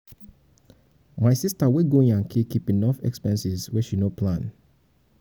my sista wey go yankee keep enough for expenses wey she no plan